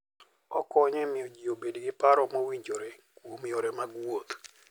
Okonyo e miyo ji obed gi paro mowinjore kuom yore mag wuoth.